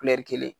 kelen